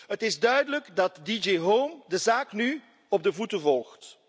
Het is duidelijk dat DG Home de zaak nu op de voet volgt.